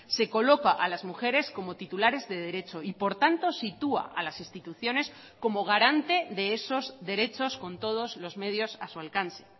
se coloca a las mujeres como titulares de derecho y por tanto sitúa a las instituciones como garante de esos derechos con todos los medios a su alcance